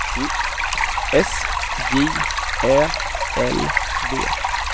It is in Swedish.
S J Ä L V